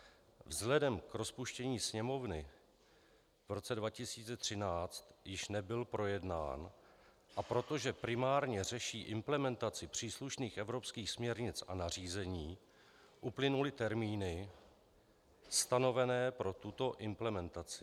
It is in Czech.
Vzhledem k rozpuštění Sněmovny v roce 2013 již nebyl projednán, a protože primárně řeší implementaci příslušných evropských směrnic a nařízení, uplynuly termíny stanovené pro tuto implementaci.